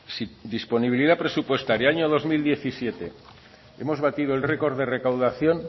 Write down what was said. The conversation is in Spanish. si disponibilidad presupuestaria el año dos mil diecisiete hemos batido el record de recaudación